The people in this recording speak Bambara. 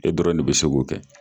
E dɔrɔn de bi se kɛ